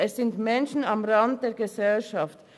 Es sind Menschen am Rande der Gesellschaft.